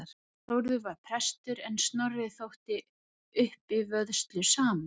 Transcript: Þórður var prestur en Snorri þótti uppivöðslusamur.